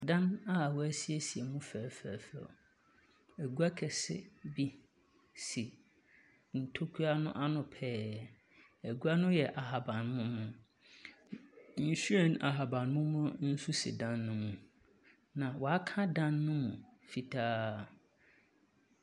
Dan aa w'asiesie mu fɛɛfɛɛfɛw. Egwa kɛse bi si ntokura no ano pɛɛ, egwa no yɛ ahabanmono. Nhweren ahabanmono nso si dan no mu. Na waaka dan no mu fitaa.